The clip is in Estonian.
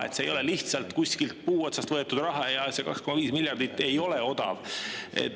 See ei ole lihtsalt kuskilt puu otsast võetud raha, see 2,5 miljardit ei ole odav.